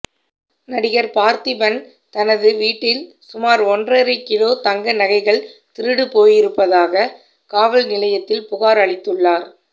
நடிகர் பார்த்திபன் தனது வீட்டில் சுமார் ஒன்றரை கிலோ தங்க நகைகள் திருடுபோயிருப்பதாக காவல் நிலையத்தில் புகார் அளித்துள்ளார்